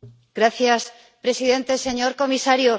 Señor presidente, señor comisario,